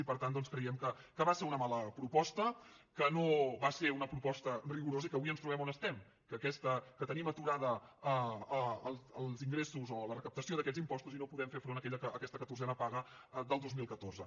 i per tant doncs creiem que va ser una mala proposta que no va ser una proposta rigorosa i que avui ens trobem on estem que tenim aturats els ingressos o la recaptació d’aquests impostos i no podem fer front a aquesta catorzena paga del dos mil catorze